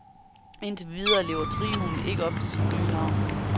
Indtil videre lever trioen ikke op til sit nye navn.